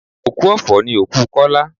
Òkú ọ̀fọ̀ ni òkú Kola